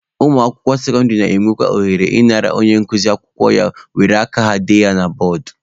Ụmụakwụkwọ sekọndịrị na-enwe ohere ị nara onye nkuzi akwụkwọ ya were aka ha dee ya na bọọdụ.